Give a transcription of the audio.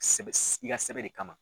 Sɛbɛ i ka sɛbɛ de kama.